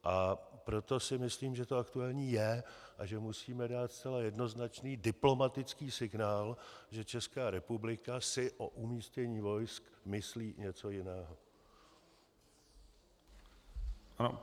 A proto si myslím, že to aktuální je a že musíme dát zcela jednoznačný diplomatický signál, že Česká republika si o umístění vojsk myslí něco jiného.